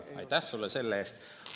Aitäh sulle selle eest!